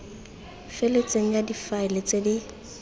feletseng ya difaele tse di